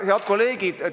Head kolleegid!